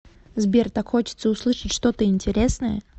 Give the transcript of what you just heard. сбер так хочется услышать что то интересное